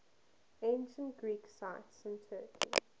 ancient greek sites in turkey